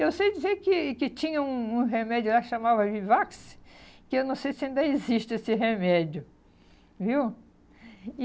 Eu sei dizer que que tinha um um remédio lá que chamava Vivax, que eu não sei se ainda existe esse remédio, viu? E